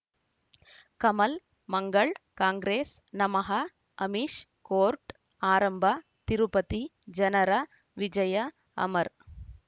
ಕಮಲ್ ಮಂಗಳ್ ಕಾಂಗ್ರೆಸ್ ನಮಃ ಅಮಿಷ್ ಕೋರ್ಟ್ ಆರಂಭ ತಿರುಪತಿ ಜನರ ವಿಜಯ ಅಮರ್